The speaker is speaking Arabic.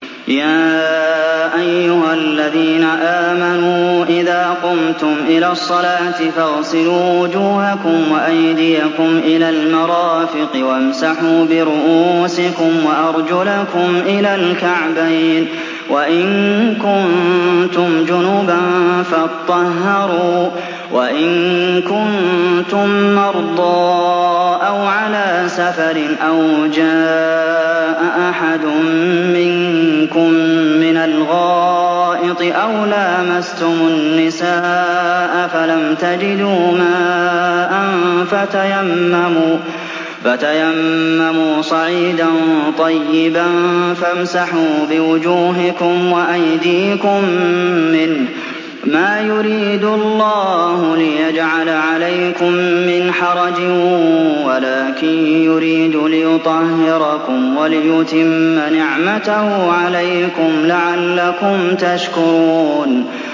يَا أَيُّهَا الَّذِينَ آمَنُوا إِذَا قُمْتُمْ إِلَى الصَّلَاةِ فَاغْسِلُوا وُجُوهَكُمْ وَأَيْدِيَكُمْ إِلَى الْمَرَافِقِ وَامْسَحُوا بِرُءُوسِكُمْ وَأَرْجُلَكُمْ إِلَى الْكَعْبَيْنِ ۚ وَإِن كُنتُمْ جُنُبًا فَاطَّهَّرُوا ۚ وَإِن كُنتُم مَّرْضَىٰ أَوْ عَلَىٰ سَفَرٍ أَوْ جَاءَ أَحَدٌ مِّنكُم مِّنَ الْغَائِطِ أَوْ لَامَسْتُمُ النِّسَاءَ فَلَمْ تَجِدُوا مَاءً فَتَيَمَّمُوا صَعِيدًا طَيِّبًا فَامْسَحُوا بِوُجُوهِكُمْ وَأَيْدِيكُم مِّنْهُ ۚ مَا يُرِيدُ اللَّهُ لِيَجْعَلَ عَلَيْكُم مِّنْ حَرَجٍ وَلَٰكِن يُرِيدُ لِيُطَهِّرَكُمْ وَلِيُتِمَّ نِعْمَتَهُ عَلَيْكُمْ لَعَلَّكُمْ تَشْكُرُونَ